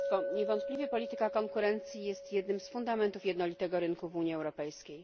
Niewątpliwie polityka konkurencji jest jednym z fundamentów jednolitego rynku w Unii Europejskiej.